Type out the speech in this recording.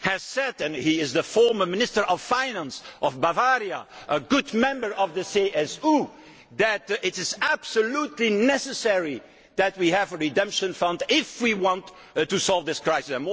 last week said and he is the former Minister of Finance in Bavaria, a good member of the CSU that it is absolutely necessary that we have a redemption fund if we want to solve this